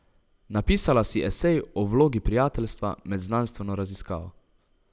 Napisala si esej o vlogi prijateljstva med znanstveno raziskavo.